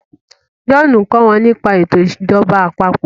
John nkọ wón nípa eto ìjọba àpapọ̀